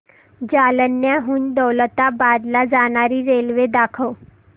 जालन्याहून दौलताबाद ला जाणारी रेल्वे दाखव